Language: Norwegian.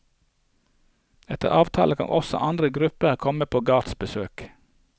Etter avtale kan også andre grupper komme på gårdsbesøk.